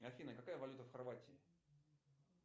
афина какая валюта в хорватии